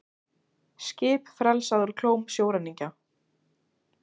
Skip frelsað úr klóm sjóræningja